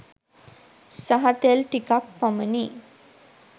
සහ තෙල් ටිකක් පමණි.